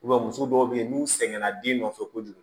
muso dɔw be yen n'u sɛgɛnna den nɔfɛ kojugu